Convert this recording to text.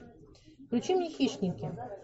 включи мне хищники